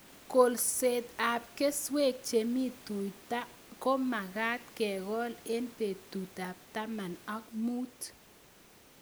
Kolset ab keswek che mi tuta ko magat kekol eng' petut ab taman ak mut